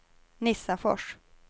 Nissafors